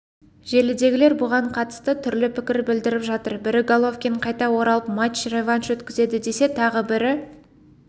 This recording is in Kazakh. желідегілер бұған қатысты түрлі пікір білдіріп жатыр бірі головкин қайта оралып матч-реванш өткізеді десе тағы бірі